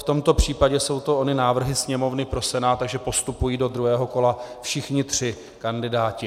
V tomto případě jsou to ony návrhy Sněmovny pro Senát, takže postupují do druhého kola všichni tři kandidáti.